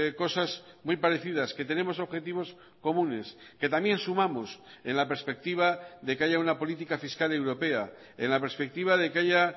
cosas muy parecidas que tenemos objetivos comunes que también sumamos en la perspectiva de que haya una política fiscal europea en la perspectiva de que haya